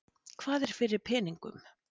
Hvað er fyrir peningum?